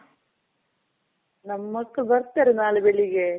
ನಮ್ ಮಕ್ಳು ಬರ್ತಾರೆ ನಾಳೆ ಬೆಳಿಗ್ಗೆ.